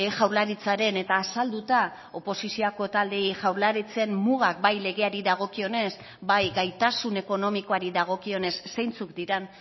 jaurlaritzaren eta azalduta oposizioko taldeei jaurlaritzen mugak bai legeari dagokionez bai gaitasun ekonomikoari dagokionez zeintzuk diren